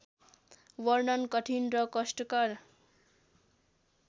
वर्णन कठिन र कष्टकर